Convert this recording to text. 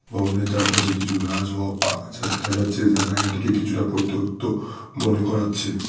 ভবনের চারপাশে কিছু গাছ ও আক-আগাছা দেখা যাচ্ছে যা জায়গাটাকে পরিত্যক্ত মনে করাচ্ছে।